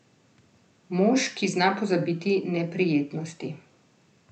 Mož, ki zna pozabiti neprijetnosti.